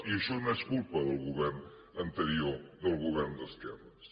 i això no és culpa del govern anterior del govern d’esquerres